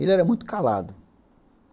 Ele era muito calado.